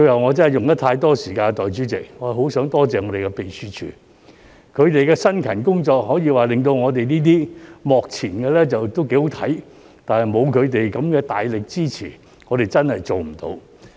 我真的用了太多時間，代理主席，我最後很想多謝秘書處，他們的辛勤工作，可以說令到我們這些幕前的"幾好睇"，但沒有他們的大力支持，我們真的做不到。